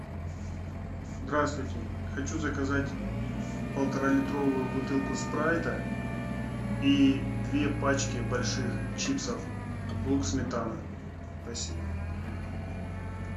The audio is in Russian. здравствуйте хочу заказать полуторалитровую бутылку спрайта и две пачки больших чипсов лук сметана спасибо